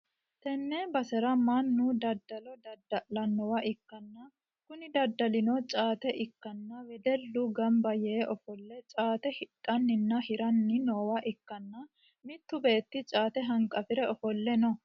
tenne basera mannu daddalo dadda'lannowa ikkanna, kuni daddalino caate ikkanna wedellu gamba yee ofolle caate hidhanninna hiranni noowa ikkanna, mittu beetti caate hanqafi're ofolle no.